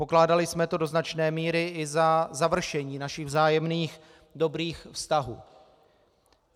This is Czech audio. Pokládali jsme to do značné míry i za završení našich vzájemných dobrých vztahů.